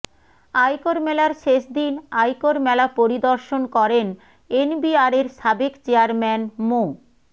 আয়কর মেলার শেষদিন আয়কর মেলা পরিদর্শন করেন এনবিআরের সাবেক চেয়ারম্যান মো